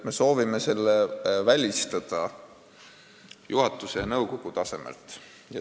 Me soovime selle välistada juhatuse ja nõukogu tasemel.